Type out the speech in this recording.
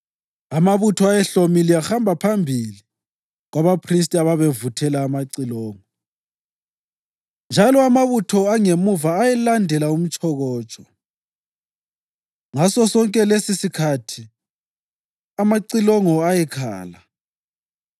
Amabutho ayehlomile ahamba phambi kwabaphristi ababevuthela amacilongo, njalo amabutho angemuva ayelandela umtshokotsho. Ngasosonke lesisikhathi amacilongo ayekhala.